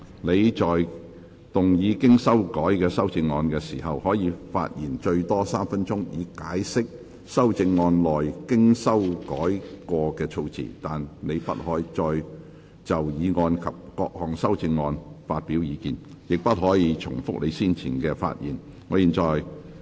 你在動議經修改的修正案時，可發言最多3分鐘，以解釋修正案內經修改過的措辭，但你不可再就議案及各項修正案發表意見，亦不可重複你先前的發言。